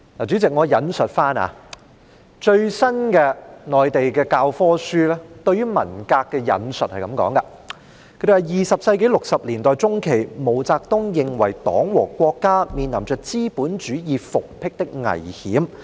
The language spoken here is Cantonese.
主席，我引述內地最新的教科書對於文革的說法，當中是這樣說的 ：20 世紀60年代中期，毛澤東認為黨和國家面臨着資本主義復辟的危險。